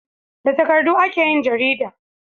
Da takardu ake yin jarida